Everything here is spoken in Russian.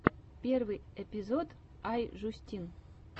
первый эпизод ай жюстин